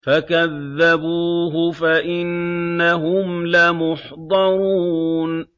فَكَذَّبُوهُ فَإِنَّهُمْ لَمُحْضَرُونَ